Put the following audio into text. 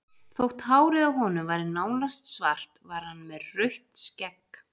Þótt hárið á honum væri nánast svart var hann með rautt skegg.